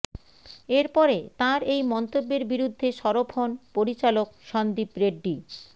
এর পরে তাঁর এই মন্তব্যের বিরুদ্ধে সরব হন পরিচালক সন্দীপ রেড্ডি